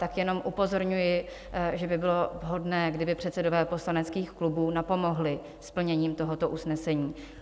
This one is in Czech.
Tak jenom upozorňuji, že by bylo vhodné, kdyby předsedové poslaneckých klubů napomohli s plněním tohoto usnesení.